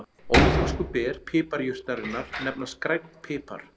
Óþroskuð ber piparjurtarinnar nefnast grænn pipar.